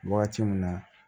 Wagati min na